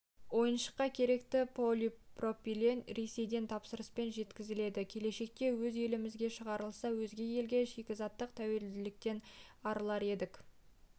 ойыншыққа керекті полипропилен ресейден тапсырыспен жеткізіледі келешекте өз елімізде шығарылса өзге елге шикізаттық тәуелділіктен арылар едік